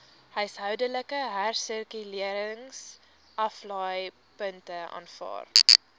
huishoudelike hersirkuleringsaflaaipunte aanvaar